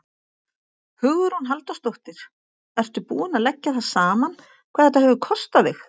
Hugrún Halldórsdóttir: Ertu búinn að leggja það saman hvað þetta hefur kostað þig?